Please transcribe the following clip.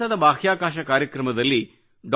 ಭಾರತದ ಬಾಹ್ಯಾಕಾಶ ಕಾರ್ಯಕ್ರಮದಲ್ಲಿ ಡಾ